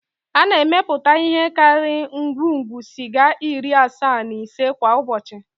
A na-emepụta ihe karịrị ngwugwu sịga iri asaa na ise kwa ụbọchị